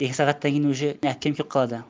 екі сағаттан кейін уже әпкем келіп қалады